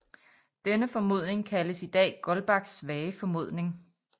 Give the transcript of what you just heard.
Denne formodning kaldes i dag Goldbachs svage formodning